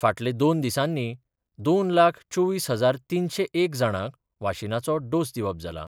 फाटले दोन दिसांनी दोन लाख चोवीस हजार तीनशे एक जाणांक वाशीनाचे डोस दिवप जाला.